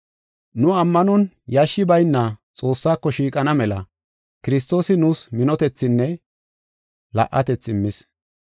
Nu ammanon yashshi bayna Xoossako shiiqana mela Kiristoosi nuus minotethinne la77atethi immis.